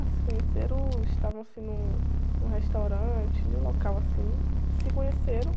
Ah, se conheceram, estavam assim num, num restaurante, num local assim, se conheceram.